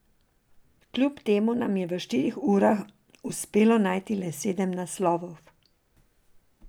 Kljub temu nam je v štirih urah uspelo najti le sedem naslovov.